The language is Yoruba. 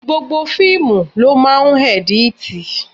Gbogbo fíìmù ló máa ń edit.